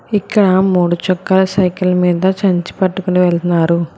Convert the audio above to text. ఇక్కడ మూడు చక్రాల సైకిల్ మీద సంచి పట్టుకుని వెళ్తున్నారు.